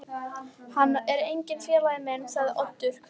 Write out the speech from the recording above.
Hann er enginn félagi minn sagði Oddur þver